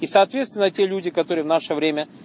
и соответственно те люди которые в наше время